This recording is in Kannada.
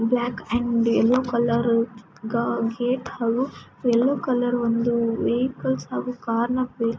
block and yellow colour gate ಹೂ ಯಲ್ಲೋ ಒಂದು ವೆಹಿಕಲ್ಸ್ ಹಾಗು ಕಾರ್ ನ--